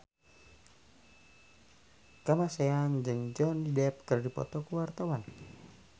Kamasean jeung Johnny Depp keur dipoto ku wartawan